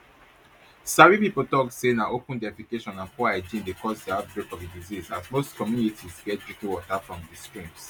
sabi pipo tok say na open defecation and poor hygiene dey cause di outbreak of di disease as most communities get drinking water from streams